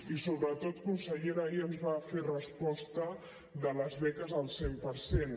i sobretot consellera ahir ens va fer resposta de les beques al cent per cent